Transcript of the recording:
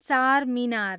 Charminar